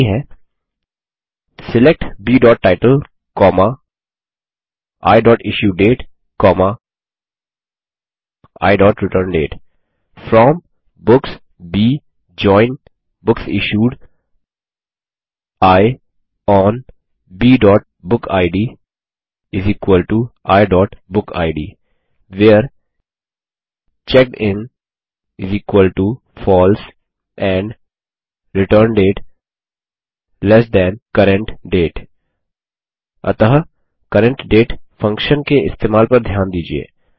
और क्वेरी है सिलेक्ट bटाइटल iइश्यूडेट iरिटर्नडेट फ्रॉम बुक्स ब जोइन बुकसिश्यूड आई ओन bबुकिड iबुकिड where checked in false and return date ल्ट CURRENT DATE अतः CURRENT DATE फंक्शन के इस्तेमाल पर ध्यान दीजिये